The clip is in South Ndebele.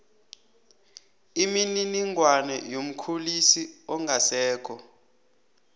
imininingwana yomkhulisi ongasekho